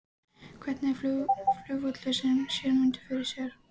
En hvernig flugvöll sér Ögmundur fyrir sér?